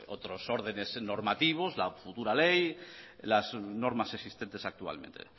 otros órdenes normativos la futura ley las normas existentes actualmente